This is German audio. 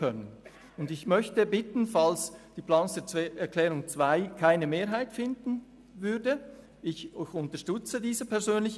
Ich bitte darum, folgendermassen vorzugehen, falls die Planungserklärung 2, die ich ebenfalls unterstütze, keine Mehrheit erreicht: